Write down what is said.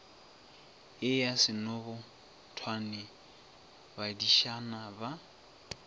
ye ya senobotwane badišana ba